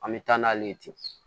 An bɛ taa n'ale ye ten